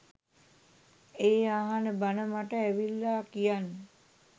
ඒ අහන බණ මට ඇවිල්ලා කියන්න.